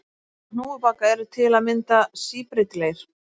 Hópar hnúfubaka eru til að mynda síbreytilegir.